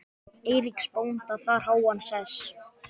Eiríks bónda þar háan sess.